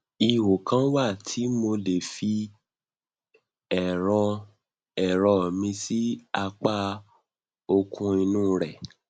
ihò kan wà tí mo lè fi ẹrọ ẹrọ mi sí apá òkun inú rẹ